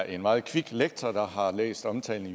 en meget kvik lektor der har læst omtalen af